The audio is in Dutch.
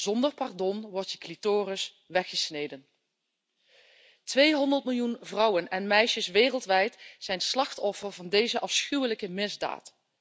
Zonder pardon wordt je clitoris weggesneden. 200 miljoen vrouwen en meisjes wereldwijd zijn slachtoffer van deze afschuwelijke misdaad.